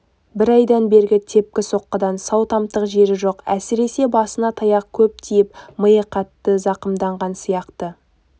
бір айдан бергі тепкі-соққыдан сау тамтық жері жоқ әсіресе басына таяқ көп тиіп миы қатты зақымдалған сияқты